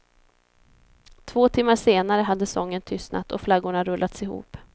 Två timmar senare hade sången tystnat och flaggorna rullats ihop.